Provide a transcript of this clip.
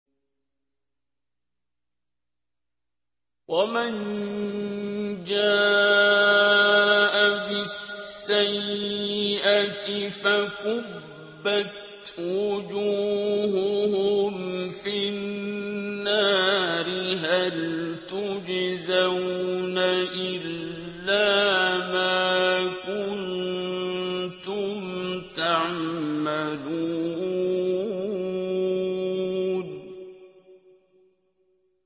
وَمَن جَاءَ بِالسَّيِّئَةِ فَكُبَّتْ وُجُوهُهُمْ فِي النَّارِ هَلْ تُجْزَوْنَ إِلَّا مَا كُنتُمْ تَعْمَلُونَ